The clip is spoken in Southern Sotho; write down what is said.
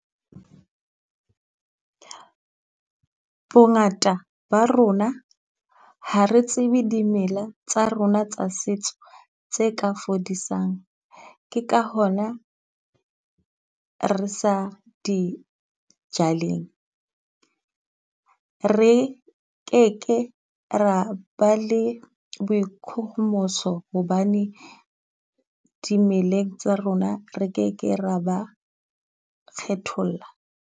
Bongata ba rona ha re tsebe dimela tsa rona tsa setso tse ka fodisang, ke ka hona re sa di joleng. Re keke ra ba le boikgohomoso hobane dimeleng tsa rona re keke ra ba kgethollo.